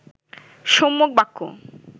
সম্যক বাক্য